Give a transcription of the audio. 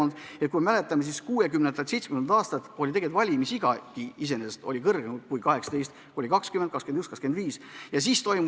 Me ju mäletame, et 1960–1970ndatel aastatel oli valimisiga veel kõrgem kui 18: oli 20, 21, 25 aastat.